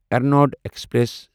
Ernad express